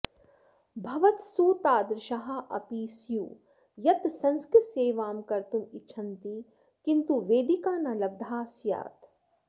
भवत्सु तादृशाः अपि स्युः यत् संस्कृतसेवां कर्तुम् इच्छन्ति किन्तु वेदिका न लब्धा स्यात्